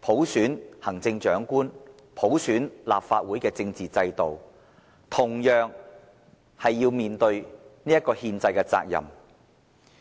普選行政長官和立法會的政治承諾，這一憲制責任。